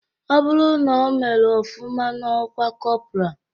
Ọ bụrụ na omere ofụma n'ọkwa kọpra